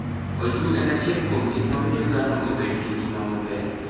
Oju en achiel kuom gik mamiyo dhano bedo gi ngima maber.